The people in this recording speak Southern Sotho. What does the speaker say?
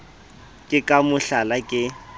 ke ka mo hlala ke